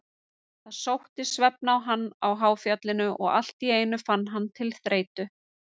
Svarið er já, vegna þess að starfsheitið fornleifafræðingur er ekki verndað með lögum.